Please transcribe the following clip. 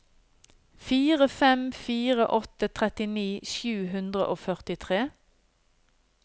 fire fem fire åtte trettini sju hundre og førtitre